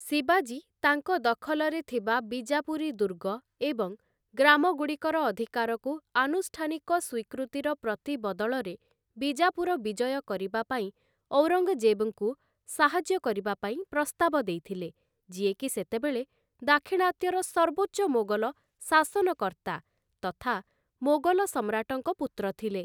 ଶିବାଜୀ, ତାଙ୍କ ଦଖଲରେ ଥିବା ବିଜାପୁରୀ ଦୁର୍ଗ ଏବଂ ଗ୍ରାମଗୁଡ଼ିକର ଅଧିକାରକୁ ଆନୁଷ୍ଠାନିକ ସ୍ୱୀକୃତିର ପ୍ରତିବଦଳରେ ବିଜାପୁର ବିଜୟ କରିବା ପାଇଁ ଔରଙ୍ଗ୍‌ଜେବ୍‌ଙ୍କୁ ସାହାଯ୍ୟ କରିବା ପାଇଁ ପ୍ରସ୍ତାବ ଦେଇଥିଲେ, ଯିଏକି ସେତେବେଳେ ଦାକ୍ଷିଣାତ୍ୟର ସର୍ବୋଚ୍ଚ ମୋଗଲ ଶାସନକର୍ତ୍ତା ତଥା ମୋଗଲ ସମ୍ରାଟଙ୍କ ପୁତ୍ର ଥିଲେ ।